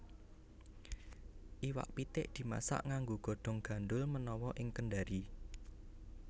Iwak pitik dimasak nganggo godhong gandhul menawa ing Kendari